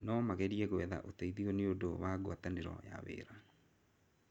No magerie gwetha ũteithio nĩ ũndũ wa gwatanĩro na wĩra.